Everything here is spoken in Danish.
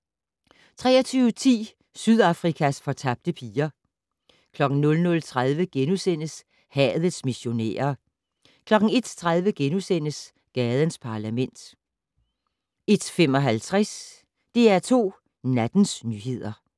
23:10: Sydafrikas fortabte piger 00:30: Hadets missionærer * 01:30: Gadens Parlament * 01:55: DR2 Nattens nyheder